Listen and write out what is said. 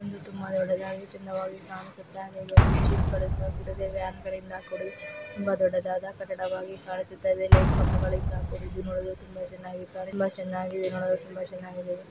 ಒಂದು ದೊಡ್ಡದಾಗಿ ಚೆಂದವಾಗಿ ಕಾಣಿಸುತ್ತಾ ಹಾಗೆಯೆ ಜೀಪ್ ಗಳಿಂದ ಕೂಡಿದೆ ವ್ಯಾನ್ ಗಳಿಂದ ಕೂಡಿದೆ ತುಂಬಾ ದೊಡ್ಡದಾದ ಕಟ್ಟಡವಾಗಿ ಕಾಣಿಸುತ್ತಿದೆ ಲೈಟ್ ಕಂಬಗಳಿಂದ ಕೂಡಿದ್ದು ನೋಡಲು ತುಂಬಾ ಚೆನ್ನಾಗಿ ಕಾಣಿ ನೋಡಲು ಚೆನ್ನಾಗಿದೆ ನೋಡಲು ತುಂಬಾ ಚೆನ್ನಾಗಿದೆ.